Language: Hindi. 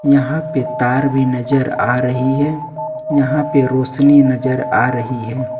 यहां पे तार भी नजर आ रही है यहां पे रोशनी नजर आ रही है।